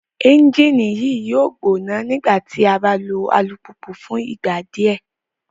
Ẹnjini yoo gbona nigbati a ba lo alupupu fun igba diẹ